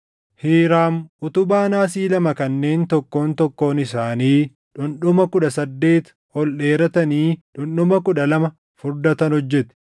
Hiiraam utubaa naasii lama kanneen tokkoon tokkoon isaanii dhundhuma kudha saddeet ol dheeratanii dhundhuma kudha lama furdatan hojjete.